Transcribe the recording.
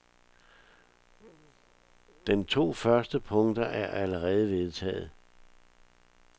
Den to første punkter er allerede vedtaget.